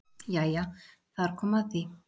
Jæja þar kom að því!